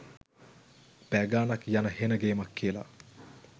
පැය ගානක් යන හෙන ගේමක් කියල